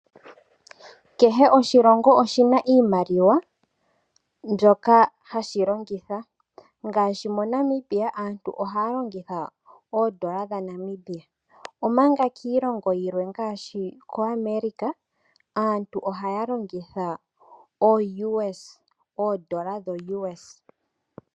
Kehe oshilongo oshina iimaliwa mbyoka hashi longitha, ngaashi moNamibia aantu ohaya longitha oondola dhaNamibia, omanga kiilongo yimwe ngaashi koAmerica aantu ohaya longitha ooUS ano oondola dho US.